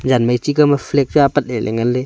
ama chi kao ma flag apat le nganle.